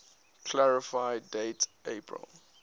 clarify date april